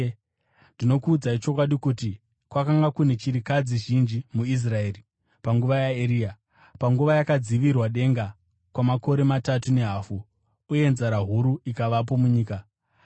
Ndinokuudzai chokwadi kuti kwakanga kune chirikadzi zhinji muIsraeri panguva yaEria, panguva yakadzivirwa denga kwamakore matatu nehafu uye nzara huru ikavapo munyika yose.